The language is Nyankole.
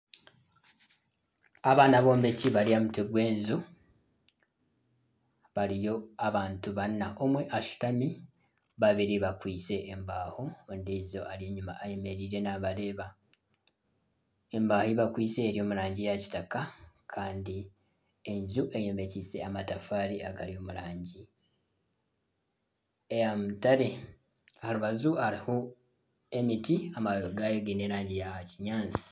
Aba n'abombeki bari aha mutwe gw'enju, bariyo abantu baana omwe ashutami, babiri bakwitse embaho omwe ayemereire enyima ariyo n'abareeba, embaho ezi bakwitsise ziri omu rangi ya kitaka, enju eyombekise amatafaari agari omu rangi eya mutare aha rubaju hariho emiti amababi gaayo giine erangi ya kinyaatsi